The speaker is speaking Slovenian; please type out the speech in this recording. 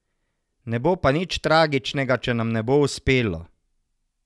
Ne bo pa nič tragičnega, če nam ne bo uspelo.